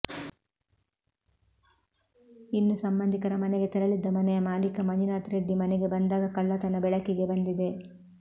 ಇನ್ನು ಸಂಬಂಧಿಕರ ಮನೆಗೆ ತೆರಳಿದ್ದ ಮನೆಯ ಮಾಲೀಕ ಮಂಜುನಾಥ್ ರೆಡ್ಡಿ ಮನೆಗೆ ಬಂದಾಗ ಕಳ್ಳತನ ಬೆಳಕಿಗೆ ಬಂದಿದೆ